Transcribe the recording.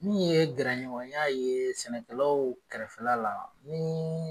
Min ye gɛrɛɲɔgɔnya ye sɛnɛkɛlaw kɛrɛfɛ la, ni